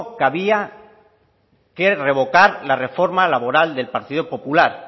que había que revocar la reforma laboral del partido popular